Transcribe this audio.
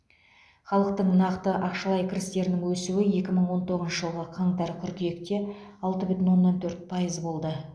халықтың нақты ақшалай кірістерінің өсуі екі мың он тоғызыншы жылғы қаңтар қыркүйекте алты бүтін оннан төрт пайыз болды